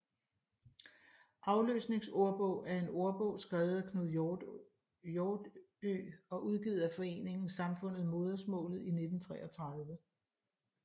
Afløsningsordbog er en ordbog skrevet af Knud Hjortø og udgivet af foreningen Samfundet Modersmaalet i 1933